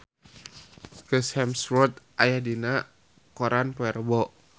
Chris Hemsworth aya dina koran poe Rebo